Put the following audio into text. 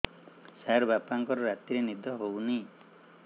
ସାର ବାପାଙ୍କର ରାତିରେ ନିଦ ହଉନି